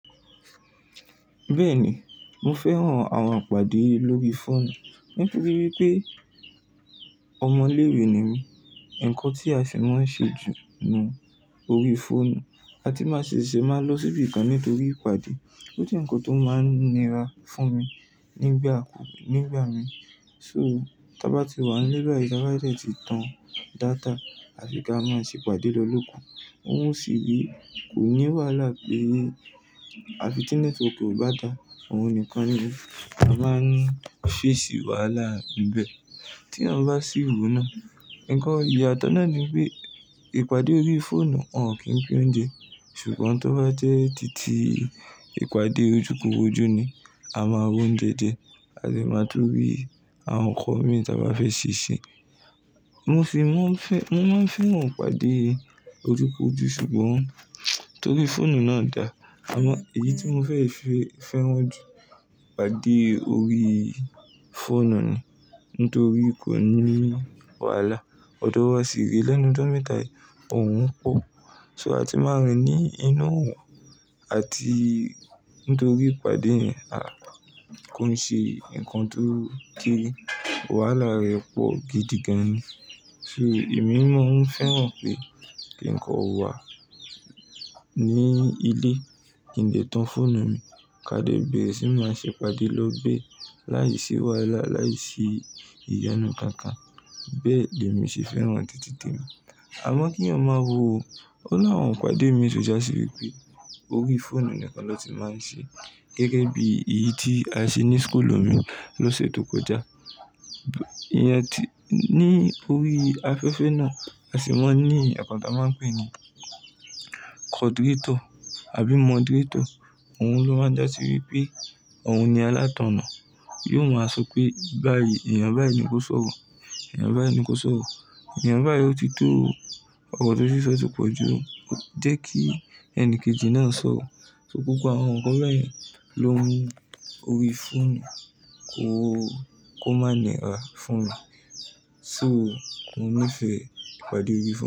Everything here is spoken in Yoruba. Bẹ́ẹ̀ni, mo fẹ́ràn àwọn ìpàdé lórí fóònù. Nítorí pé ọmọ ilé-ìwé ni mí, ǹkan tí a sì máa ń ṣe jù ni orí fóònù. A sì ti máa ń lọ síbi kan nítorí ìpàdé, ó jẹ́ ǹkan tó máa ń nira fún mi nígbà kú-- nígbà mi. So, tí a bá ti wà nílé báyìí, tàbí a dẹ̀ ti tan data àti kí a máa ṣe ìpàdé lọ lókù, òun ó sì re, kò ní wàhálà pé àfi ti nẹ́tíwọ̀kì ò bá da, òun nìkan ni a ma n ní fesi wàhálà níbẹ̀. Tí èèyàn bá sí wo náà, ǹkan ìyàtọ̀ náà ni pé ìpàdé orí fóònù, wọn ò kí ń pín oúnjẹ. Ṣùgbọ́n tó bá jẹ́ tìtì ìpàdé ojúkòrójú ni a máa r'ounjẹ je, a sì máa tú ri àwọn nǹkan mìí tí a bá fẹ́ ṣe ṣe. Mo fi, mo fẹ́, mo máa ń fẹ́ràn ìpàdé ojúkòrójú ṣùgbọ́n torí fóònù náà da. Àmọ́ èyí tí mo fẹ́ fẹ́, fẹ́ràn jù ìpàdé orí fóònù ni nítorí kò ní wàhálà. Ọ̀dọ wa sì rè lẹ́nu ìjọmẹta yi, òórùn pọ. So a tì máa rìn ní inú òòrùn àti nítorí ìpàdé yẹn a kò ń ṣe ǹkan tó kí wàhálà rẹ̀ pọ̀ gidi gan-an ni. So èmi ni mò ń fẹ́ràn pé kí ǹkan ò wà ní ilé, kí n lè tan fóònù mi, ka dẹ bẹ̀rẹ̀ sì máa ṣe ìpàdé lọ bẹ́ láìsí wàhálà, láìsí ìyọnu kankan. Bẹ́ẹ̀ dẹ mi ṣe fẹ́ràn títí tèmi. Àmọ́ kí èèyàn ó máa wò ó, o ni àwọn ìpàdé mi ti já sí wípé orí fóònù nìkan ló ti máa ń ṣe é. Gẹ́gẹ́ bí èyí tí a ṣe ní school mi lóṣù tó kọjá. Ìyẹn tí ní orí afẹ́fẹ́ náà, a sì máa ń ní èèyàn kan ta máa ń pè ní kọdìretọ̀ àbí mọ́díretọ̀. Òun ló máa ń jásí wípé òun ni alátọ̀nà. Yóò máa sọ pé báyìí, ènìyàn báyìí ni kó sọ̀rọ̀, ènìyàn báyìí ni kó sọ̀rọ̀. Ènìyàn báyìí ó ti tó ọrọ tó ti n sọ ti pọ̀jù o, jẹ́ kí ẹnikejì náà sọ̀rọ̀. So gbogbo àwọn nǹkan bẹ́ẹ̀ ló mú orí fóònù kó, kó má ni ra fún mi. So mò ń nífẹ̀ẹ́ ìpàdé orí fóònù.